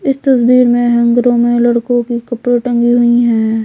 इस तस्वीर में हैंगरों में लड़कों की कपड़े टंगी हुई हैं।